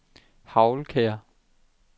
Hagelkær